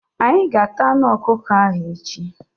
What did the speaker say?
Anyị ga- ata anụ ọkụkọ ahụ echi.